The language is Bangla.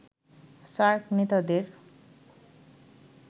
সার্ক নেতাদের